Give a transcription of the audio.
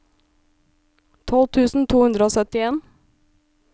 tolv tusen to hundre og syttien